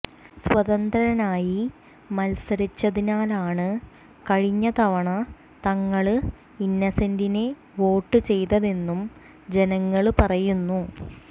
സ്വതന്ത്രനായി മത്സരിച്ചതിനാലാണ് കഴിഞ്ഞതവണ തങ്ങള് ഇന്നസെന്റിന് വോട്ട് ചെയ്തതെന്നും ജനങ്ങള് പറയുന്നു